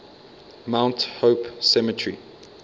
mount hope cemetery